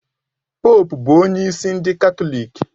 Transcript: Poópu bụ onye isi ndị Katọlik